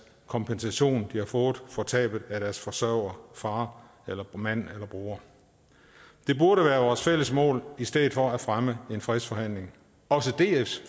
kompensation de har fået for tabet af deres forsørger far mand eller bror det burde være vores fælles mål i stedet for at fremme en fredsforhandling også dfs